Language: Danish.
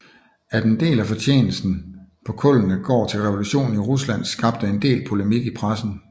At en del af fortjenesten på kullene går til revolutionen i Rusland skabte en del polemik i pressen